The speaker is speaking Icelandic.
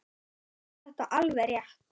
Honum fannst þetta alveg rétt.